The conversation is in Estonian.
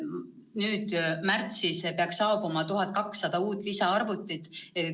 Nüüd märtsis peaks saabuma 1200 uut lisaarvutit.